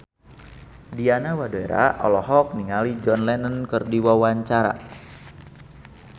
Diana Widoera olohok ningali John Lennon keur diwawancara